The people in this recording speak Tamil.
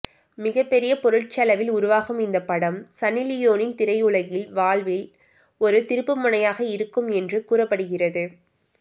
மிகப்பெரிய பொருட்செலவில் உருவாகும் இந்த படம் சன்னிலியோனின் திரையுலகில் வாழ்வில் ஒரு திருப்புமுனையாக இருக்கும் என்று கூறப்படுகிறது